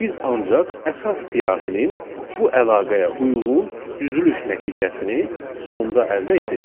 Biz ancaq əsas siyahının bu əlaqəyə uyğun düzülüş nəticəsini sonda əldə edirik.